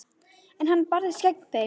En hann barðist gegn þeim.